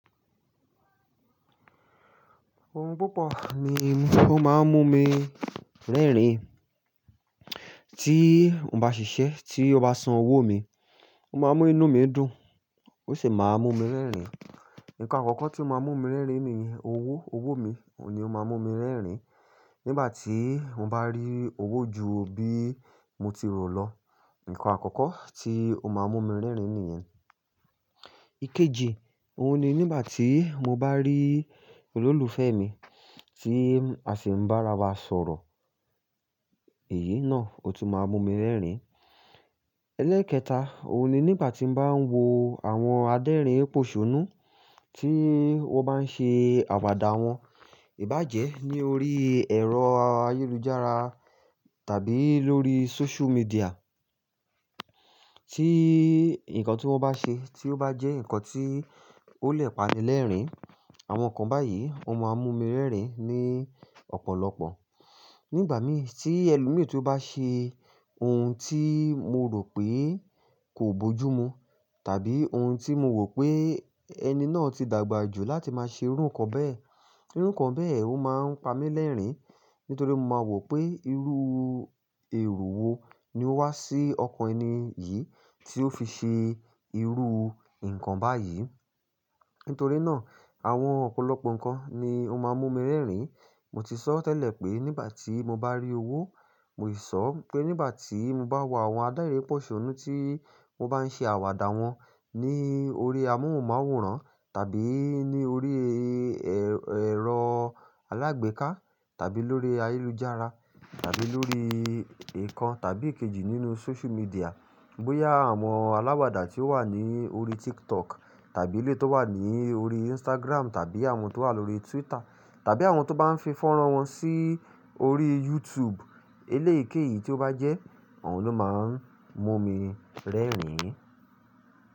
Ohun púpọ̀ ni ó máa ń mú mi rẹ́rìn. Tí mo bá ṣiṣẹ́, tí ó bá san owó mi, ó máa ń mú inú mi dùn, ó sì máa ń mú mi rẹ́rìn. Ǹkan àkọ́kọ́ tí ó máa ń mú mi rẹ́rìn níyen owó, owó mi ni ó máa ń mú mi rẹ́rìn. Nígbà tí mo bá rí owó ju bí mo ti rò lọ, ǹkan àkọ́kọ́ tí ó máa ń mú mi rẹ́rìn nìyẹn. Ikeji, òun ni nígbà tí mo bá rí olólùfẹ́ mi tí a sì ń bá ara wa sọ̀rọ̀, èyí náà ò tún máa mú mi rẹ́rìn. Elẹ́kẹta, òun ni nígbà tí mo bá ń wo àwọn adérìn pòṣónú tí wọ́n bá ń ṣe àwàdà wọn ìbàjẹ́ ní orí ẹ̀rọ ayélujára tàbí lórí social media. Tí ǹkan tí wọ́n bá ṣe tí ó bá jẹ́ ǹkan tí ó lè pani lẹ́rìn, àwọn nǹkan báyìí ó máa ń mú mi rẹ́rìn ní ọ̀pọ̀lọpọ̀. Nígbà mìí tí ẹlòmíràn tí ó bá ṣe ohun tí mo rò pé kò bójú mu tàbí ohun tí mo wò pé ẹni náà ti dàgbà jù láti máa ṣe irú nǹkan bẹ́ẹ̀, irú nǹkan bẹ́ẹ̀ ó máa ń pa mí lẹ́rìnì. Nítorí mo máa wò pé irú èrò wo ni ó wá sí ọkàn ẹni yìí tí ó fi ṣe irú nǹkan báyìí. Nítorí náà, àwọn ọ̀pọ̀lọpọ̀ ǹkan ni ó máa ń mú mi rẹ́rìn. Mo ti sọ tẹ́lẹ̀ pé nígbà tí mo bá rí owó, mo sì sọ pé nígbà tí mo bá wò àwọn adérìn pòṣónú tí wọ́n bá ń ṣe àwàdà wọn ní orí amóhùnmáwòrán tàbí ní orí ẹ̀rọ alágbèéká tàbí lórí ayélujára tàbí lórí ìkan tàbí èkejì nínú social media. Bóyá àwọn aláwàdà tí ó wà ní orí TikTok tàbí eléyi tí ó wà ní orí Instagram tàbí àwọn tí ó wà lórí Twitter tàbí àwọn tí ó bá ń fi fọ́nrán wọn sí orí YouTube. Eléìkéyìí tí ó bá jẹ́, òun ló máa ń mú mi rẹ́rìn.